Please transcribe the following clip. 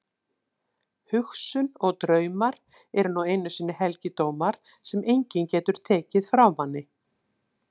Hugsun og draumar eru nú einu sinni helgidómar sem enginn getur tekið frá manni.